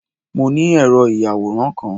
Mo ni ẹ̀rọ ìyàwòràn kan